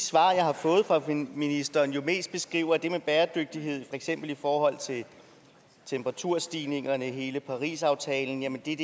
svar jeg har fået fra ministeren jo mest beskriver det med bæredygtighed for eksempel i forhold til temperaturstigningerne hele parisaftalen nemlig